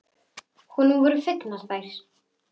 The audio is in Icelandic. Honum voru fengnar þær.